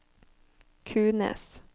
Kunes